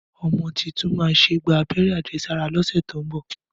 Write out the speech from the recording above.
Ọmọ títùn mà sẹ gbà àbẹẹrẹ àjẹsàrá lọsẹ tọ mbọ.